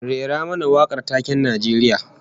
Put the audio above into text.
Rera mana wakar taken Najeriya